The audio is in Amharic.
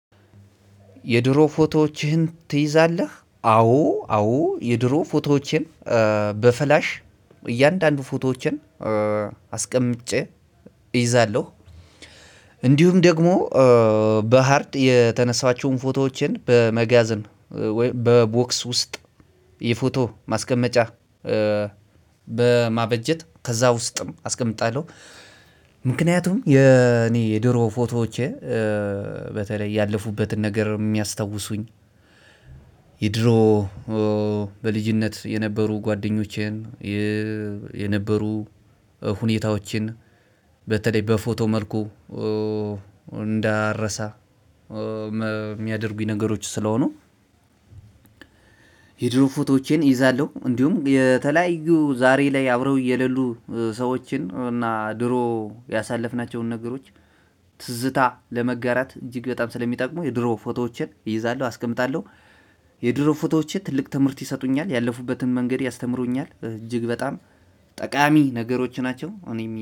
የድሮ ፎቶዎችህን ትይዛለህ አዎ አዎ የድሮ ፎቶዎቼን በፍላሽ እያንዳንዱ ፎቶዎቼን አስቀምጬ እይዛለሁ። እንዲሁም ደግሞ በሃርድ የተነሳኃቸውን ፎቶዎችን በመጋዘን በቦክስ ውስጥ የፎቶ ማስቀመጫ በማበጀት ከዛ ውስጥም አስቀምጣለሁ። ምክንያቱም የኔ የድሮ ፎቶዎቼ በተለይ ያለፉበትን ነገር የሚያስታውሱኝ የድሮ በልጅነት የነበሩ ጓደኞቼን የነበሩ ሁኔታዎችን በተለይ በፎቶ መልኩ እንዳረሳ የሚያደርጉኝ ነገሮች ስለሆኑ። የድሮ ፎቶዎቼን እይዛለሁ። እንዲሁም የተለያዩ ዛሬ ላይ አብረው እየሌሉ ሰዎችን እና ድሮ ያሳለፍናቸውን ነገሮች ትዝታ ለመጋራት እጅግ በጣም ስለሚጠቅሙ የድሮ ፎቶዎችን እይዛለሁ። አስቀምጣለሁ። የድሮ ፎቶዎችን ትልቅ ትምህርት ይሰጡኛል ያለፉበትን መንገድ ያስተምሩኛል እጅግ በጣም ጠቃሚ ነገሮች ናቸው። እኔ